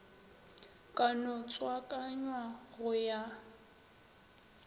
ka no tswakanywa go ya